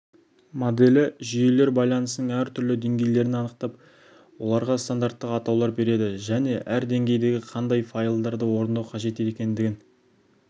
моделі жүйелер байланысының әр түрлі деңгейлерін анықтап оларға стандарттық атаулар береді және әр деңгейдің қандай файлдарды орындау қажет екендігін